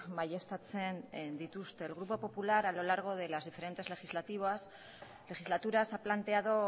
baieztatzen dituzte el grupo popular a lo largo de las diferentes legislaturas ha planteado